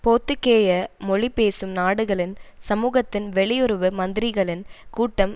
போர்த்துக்கேய மொழி பேசும் நாடுகளின் சமூகத்தின் வெளியுறவு மந்திரிகளின் கூட்டம்